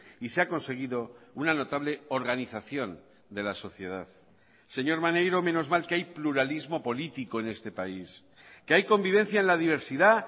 y se ha conseguido una notable organización de la sociedad señor maneiro menos mal que hay pluralismo político en este país que hay convivencia en la diversidad